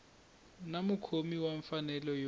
na mukhomi wa mfanelo yo